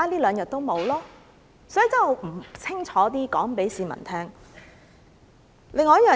所以，我必須清楚告訴市民這一點。